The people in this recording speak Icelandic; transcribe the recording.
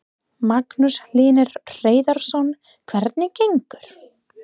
Magnús Hlynur Hreiðarsson: Hvernig gengur?